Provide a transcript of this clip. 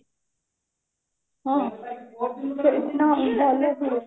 ହଁ ଭଲ ହୁଏ